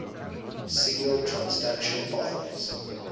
signal transduction pathways